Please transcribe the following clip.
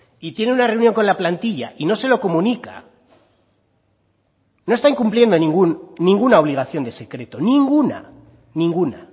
y tiene una reunión con la plantilla y no se lo comunica no está incumpliendo ninguna obligación de secreto ninguna ninguna